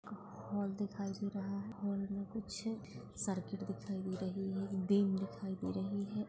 Hall दिखाई दे रहा है हॉल मे कुछ सर्किट दिखाई दे रही है दिखाई दे रही है।